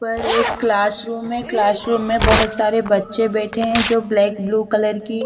पर एक class room है क्लास रूम में बहुत सारे बच्चे बैठे हुए हैं जो ब्लैक ब्लू कलर की--